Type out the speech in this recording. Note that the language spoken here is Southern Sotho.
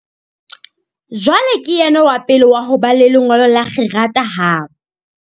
Jwale ke yena wa pele wa ho ba le lengolo la kgerata habo.